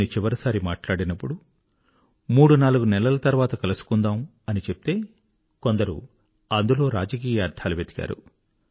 నేను చివరిసారి మాట్లాడినప్పుడు మూడునాలుగు నెలల తర్వాత కలుసుకుందాం అని చెప్తే కొందరు అందులో రాజకీయ అర్థాలు వెదికారు